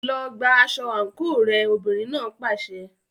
Lọ gba aṣọ àǹkóò rẹ, obìnrin náà pàṣẹ.